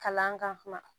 Kalan kan